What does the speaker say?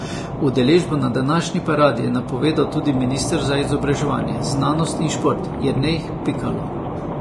Udeležbo na današnji paradi je napovedal tudi minister za izobraževanje, znanost in šport Jernej Pikalo.